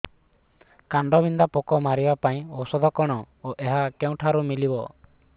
କାଣ୍ଡବିନ୍ଧା ପୋକ ମାରିବା ପାଇଁ ଔଷଧ କଣ ଓ ଏହା କେଉଁଠାରୁ ମିଳିବ